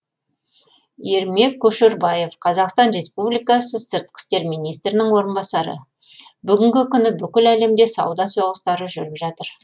ермек көшербаев қазақстан республикасы сыртқы істер министрінің орынбасары бүгінгі күні бүкіл әлемде сауда соғыстары жүріп жатыр